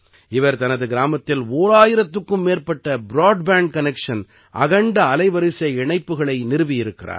இவர் தனது கிராமத்தில் ஓராயிரத்துக்கும் மேற்பட்ட பிராட்பேண்ட் கனெக்ஷன் அகண்ட அலைவரிசை இணைப்புக்களை நிறுவியிருக்கிறார்